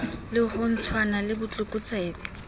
le ho lwantshana le botlokotsebe